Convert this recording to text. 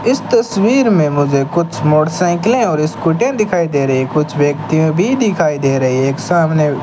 इस तस्वीर में मुझे कुछ मोटरसाइकिलें और स्कूटर दिखाई दे रहे हैं कुछ व्यक्तिया भी दिखाई दे रही है एक सामने --